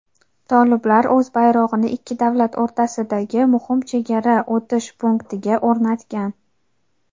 toliblar o‘z bayrog‘ini ikki davlat o‘rtasidagi muhim chegara o‘tish punktiga o‘rnatgan.